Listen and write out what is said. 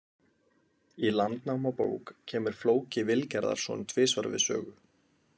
Í Landnámabók kemur Flóki Vilgerðarson tvisvar við sögu.